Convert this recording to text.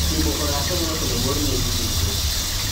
Timo orako nyalo kelo mor ne ji duto.